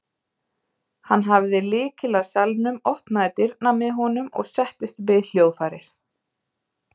Hann hafði lykil að salnum, opnaði dyrnar með honum og settist við hljóðfærið.